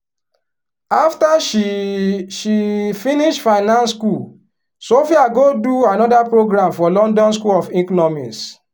after she she finish finance school sophia go do another program for london school of economics.